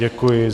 Děkuji.